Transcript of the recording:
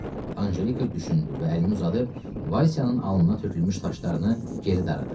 Anjelika düşündü və əlini uzadıb Valsyanın alnına tökülmüş saçlarını geri daradı.